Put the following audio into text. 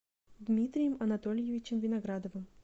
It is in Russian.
дмитрием анатольевичем виноградовым